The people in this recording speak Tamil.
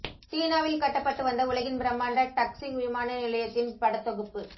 சீனாவில் கட்டப்பட்டு வந்த உலகின் பிரமாண்ட டக்ஸிங் விமான நிலையத்தின் படத் தொகுப்பு